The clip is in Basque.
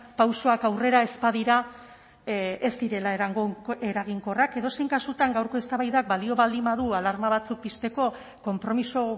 pausoak aurrera ez badira ez direla eraginkorrak edozein kasutan gaurko eztabaidak balio baldin badu alarma batzuk pizteko konpromiso